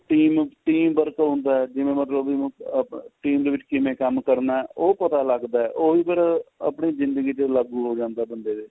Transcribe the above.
team team work ਹੁੰਦਾ ਜਿਵੇਂ ਮਤਲਬ ਵੀ ਹੁਣ ਆਪਣਾ team ਦੇ ਵਿਚ ਕਿਵੇਂ ਕੰਮ ਕਰਨਾ ਉਹ ਪਤਾ ਲੱਗਦਾ ਉਹੀ ਫੇਰ ਆਪਣੇ ਜਿੰਦਗੀ ਤੇ ਲਾਗੂ ਹੋ ਜਾਂਦਾ ਬੰਦੇ ਤੇ